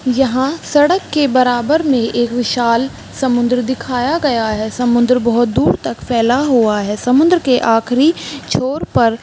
यहाँ सड़क के बराबर में एक विशाल समुंद्र दिखाया गया है समुंद्र बहुत दूर तक फैला हुआ है समुंद्र के आखरी छोर पर --